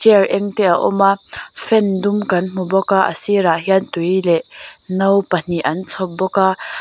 chair eng te a awm a fan dum kan hmu bawk a a sirah hian tui leh no pahnih an chhawp bawk a.